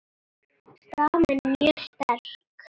Staðan er mjög sterk.